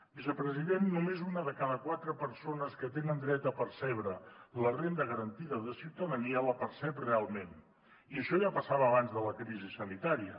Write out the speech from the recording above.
vicepresident només una de cada quatre persones que tenen dret a percebre la renda garantida de ciutadania la percep realment i això ja passava abans de la crisi sanitària